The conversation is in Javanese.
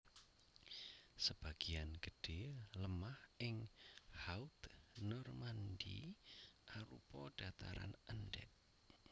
Sebagéan gedhé lemah ing Haute Normandie arupa dhataran endhèk